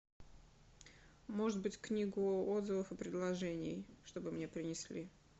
может быть книгу отзывов и предложений чтобы мне принесли